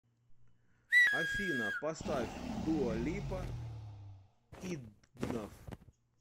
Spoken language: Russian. афина поставь дуа липа идгнаф